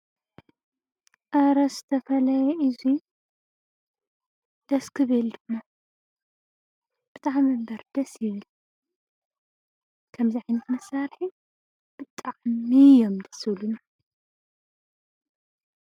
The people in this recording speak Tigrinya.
ኣረ ዝተፈለየ እዙይ ደስ ክብል ድሞ ብታ ሕምልበርደ ስብል ከምዝኂን ኽንሳርኂ ብጥዕሚ እዮም ደሶ ዝብሉኒ።